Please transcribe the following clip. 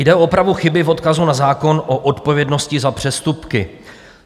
Jde o opravu chyby v odkazu na zákon o odpovědnosti za přestupky.